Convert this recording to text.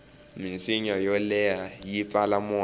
minsinya yo leha yi pfala moya